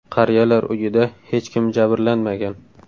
Qariyalar uyida hech kim jabrlanmagan.